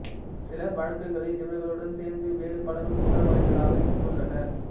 சில வழக்குகளில் இவர்களுடன் சேர்ந்து வேறு பலரும் குற்றவாளிகளாக இருந்துள்ளனர்